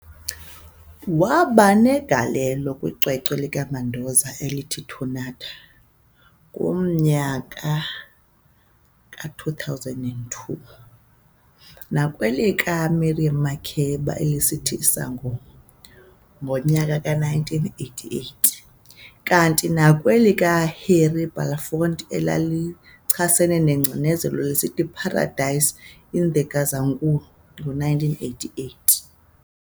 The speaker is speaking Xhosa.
Wabanegalelo kwicwecwe likaMandoza elithi "Tornado", ngomnyaka ka2002, nakwelikaMiriam Makeba elithi "Sangoma", ngonyaka ka1988, kanti nakwelika Harry Belafonte elalichasene nengcinezelo lisithi "Paradise in Gazankulu", ngo1988.